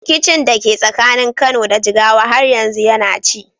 Rikicin da ke tsakanin Kano da Jigawa har yanzu yana ci.